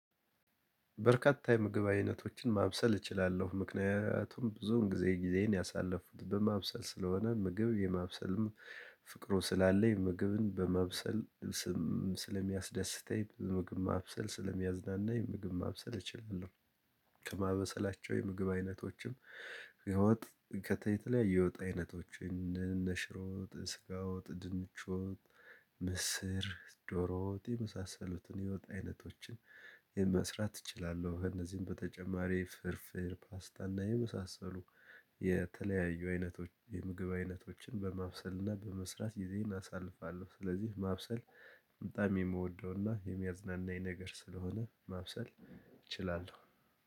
በርካታ የምግብ አይነቶችን ማብሰል እችላለሁ። ምክንያቱም ብዙውን ጊዜ ጊዜን ያሳለፉት በማብሰል ስለሆነ፣ ምግብ የማብሰልም ፍቅሩ ስላለኝ፣ ምግብን በማብሰል ስም ስለሚያስደስተኝ ምግብ ማብሰል ስለሚያዝናናኝ ምግብ ማብሰል እችላለሁ። ከማበሰላቸው የምግብ አይነቶችም ከወጥ፣ ከተለያዩ የወጥ አይነቶችን እነ ሽሮ ወጥ፣ ስጋ ወጥ፣ ድንች ወጥ ምስር፣ ዶሮዎ ውጥ የመሳሰሉትን የወጥ አይነቶችን መስራት እችላለሁ። ከእነዚህም በተጨማሪ ፍርፍር፣ ፓስታ እና የመሳሰሉ የተለያዩ አይነቶች የምግብ አይነቶችን በማብሰልና በመስራት ግዜይን አሳልፋለሁ፣ ስለዚህ ማብሰል በጣም የምወደውና የሚያዝናናኝ ነገር ስለሆነ ማብሰል እችላለሁ።